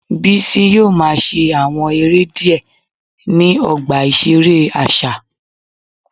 Bisi yoo ma ṣe awọn ere diẹ ni ọgba iṣere aṣa